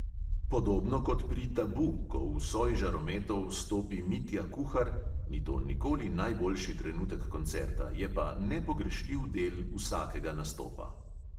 Podobno kot pri tabu, ko v soj žarometov stopi mitja kuhar, ni to nikoli najboljši trenutek koncerta, je pa nepogrešljiv del vsakega nastopa.